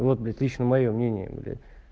вот блять лично моё мнение бля